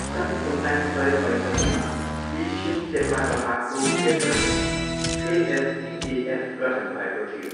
सन् उन्नाइस सय पैँसट्ठीमा एसियन सेपाकताक्रो फेडेरेसन, एएसटिएएफ, गठन भएको थियो।